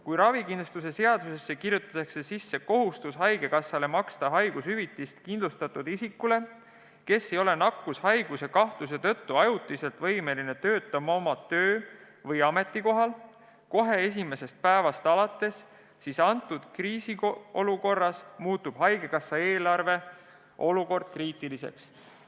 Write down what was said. Kui ravikindlustuse seadusesse kirjutatakse sisse kohustus haigekassale maksta haigushüvitist kindlustatud isikule, kes ei ole nakkushaiguse kahtluse tõttu ajutiselt võimeline töötama oma töö- või ametikohal kohe esimesest päevast alates, siis kriisiolukorras muutub haigekassa eelarve olukord kriitiliseks.